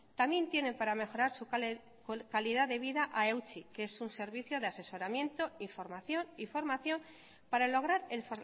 también tienen para mejorar su calidad de vida a eutsi que es un servicio de asesoramiento información y formación para lograr el